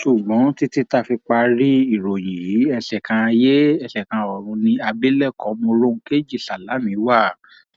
ṣùgbọn títí tá a fi parí ìròyìn yìí ẹsẹ kan ayé ẹsẹ kan ọrun ni abilékọ mòròunkejì sálámí wà